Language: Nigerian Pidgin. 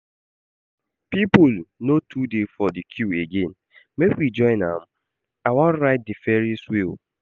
People no too dey for that queue again, make we join am, I wan ride the ferry's wheel